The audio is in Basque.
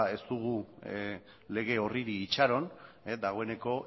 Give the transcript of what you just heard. ez dugu lege horri itxaron dagoeneko